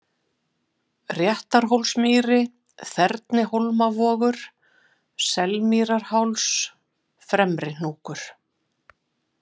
Réttarhólsmýri, Þernihólmavogur, Selmýrarháls, Fremri-Hnúkur